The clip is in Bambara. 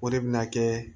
O de bɛna kɛ